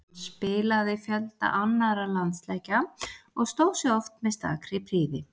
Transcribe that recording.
Hann spilaði fjölda annarra landsleikja og stóð sig oft með stakri prýði.